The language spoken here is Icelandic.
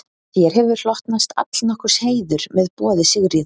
Þér hefur hlotnast allnokkur heiður með boði Sigríðar.